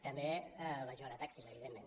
també vaig veure taxis evidentment